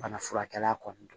Banafurakɛla kɔni don